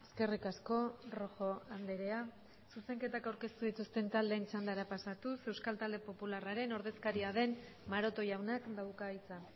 eskerrik asko rojo andrea zuzenketak aurkeztu dituzten taldeen txandara pasatuz euskal talde popularraren ordezkaria den maroto jaunak dauka hitza